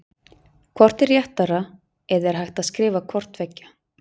Hvort er rétt eða er hægt að skrifa hvort tveggja?